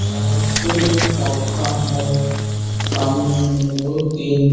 यहाँ सैलून का दुकान है सामने में दो तीन --